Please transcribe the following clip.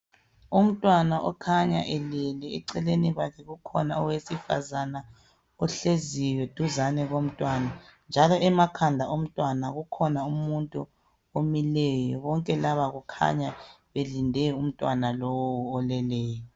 Umntwana okukhanya elele eceleni kwakhe ukhona owesifazane ohleziyo duzane komntwana njalo emakhanda omntwana kukhona umuntu omileyo bonke laba kukhanya belinde umntwana lowu oleleyo.